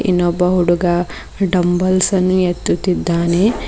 ಇನ್ನೊಬ್ಬ ಹುಡುಗ ಡಂಬಲ್ಸ ಅನ್ನು ಎತ್ತುತ್ತಿದ್ದಾನೆ.